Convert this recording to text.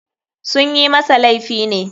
Sunyi masa laifi ne.